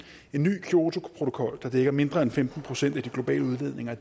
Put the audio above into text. en ny kyotoprotokol der dækker mindre end femten procent af de globale udledninger